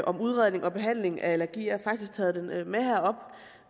om udredning og behandling af allergi jeg har faktisk taget den